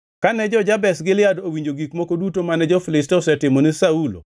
Kane jo-Jabesh Gilead nowinjo gik moko duto mane jo-Filistia osetimo ni Saulo,